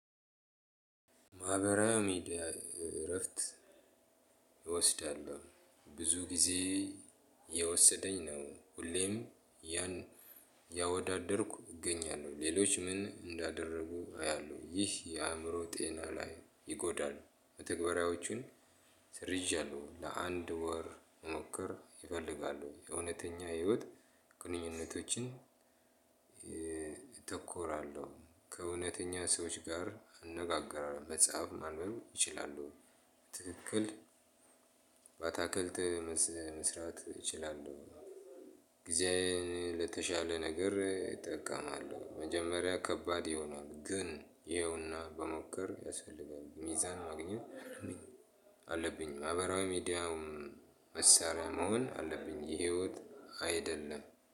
ማህበራዊ እረፍት ይወስዳሉ ብዙ ጊዜ የወሰደኝ ነው። ሁሌም ያን ያወዳደርኩ እገኛለሁ ሌሎች ምን እንዳደረጉ አያለሁ። ይህ የአእምሮ ጤና ላይ ይጎዳሉ ተግባራዎቹን። ወር መሞከር ይፈልጋሉ የእውነተኛ ህይወት ግንኙነቶችን። አተኩራለሁ ከእውነተኛ ሰዎች ጋር እነጋገራለሁ መጽሐፍ ማንም እችላለሁ። ትክክል በአታክልት መስራት ይችላሉ። ጊዜ ለተሻለ ነገር እጠቀማለሁ መጀመሪያ ከባድ ይሆናል። ግን ይኸውና ብሞክር ያስፈልጋል ሚዛን ማግኘት አለብኝ። አለብኝ ማህበራዊ ሚዲያውም መሳሪያ መሆን አለብኝ የህይወት አይደለም